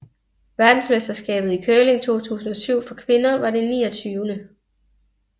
Verdensmesterskabet i curling 2007 for kvinder var det 29